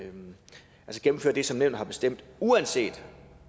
gennemføre det som nævnet har bestemt uanset